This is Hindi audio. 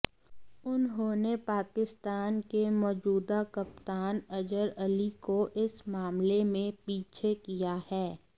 उन्होंने पाकिस्तान के मौजूदा कप्तान अजहर अली को इस मामले में पीछे किया है